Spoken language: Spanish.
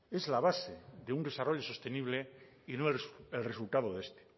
es la base de un desarrollo sostenible y no el resultado de este